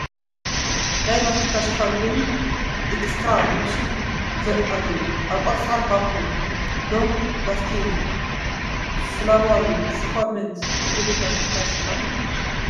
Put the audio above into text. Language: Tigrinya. ናይ ማስቲካ ሽፋን ኮይኑ ኤክስትራ ዝብል ሽም ዘለዋ ኣብ ቆፃል ባኮ ሎንግ ላስቲንግ ፍሌቨር ስፐርሜንት ዝብል ማስቲካ ሽፋን እዩ ።